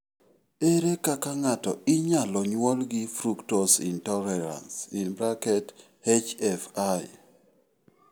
Ere kaka ng'ato inyalo nyuolo gi fructose intolerance (HFI)?